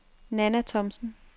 Nanna Thomsen